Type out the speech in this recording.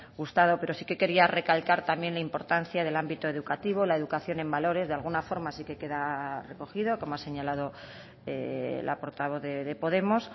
gustado pero sí que quería recalcar también la importancia del ámbito educativo la educación en valores de alguna forma sí que queda recogida como ha señalado la portavoz de podemos